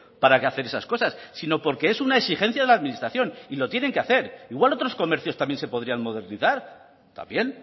para que hagan esas cosas sino porque es una exigencia de la administración y lo tienen que hacer igual otros comercios también se podrían modernizar también